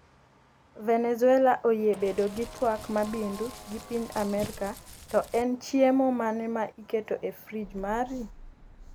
Venezuela oyie bedo gi twak mabindu gi piny Amerka, to En chiemo mane ma iketo e frij mari?